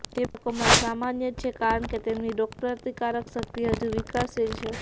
તે બાળકોમાં સામાન્ય છે કારણ કે તેમની રોગપ્રતિકારક શક્તિ હજુ વિકાસશીલ છે